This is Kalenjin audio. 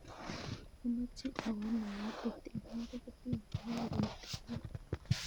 Amoche awo nairobi tilwan tikitit nepo karit ap maat